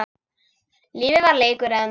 Lífið var leikur einn.